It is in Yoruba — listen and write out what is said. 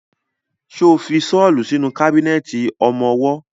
Ṣo fi ṣọ́lù sínú kábínẹ̀tì ọmọwọ́?